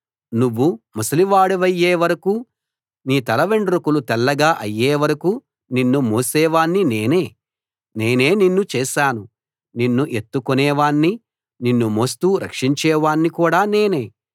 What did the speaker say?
నువ్వు ముసలివాడివయ్యే వరకూ నీ తల వెండ్రుకలు తెల్లగా అయ్యే వరకూ నిన్ను మోసేవాణ్ణి నేనే నేనే నిన్ను చేశాను నిన్ను ఎత్తుకునే వాణ్ణీ నిన్ను మోస్తూ రక్షించేవాణ్ణీ కూడా నేనే